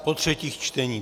Po třetích čteních.